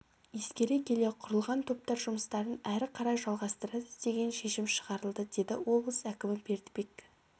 ескере келе құрылған топтар жұмыстарын әрі қалай жалғастырады деген шешім шығарылды деді облыс әкімі бердібек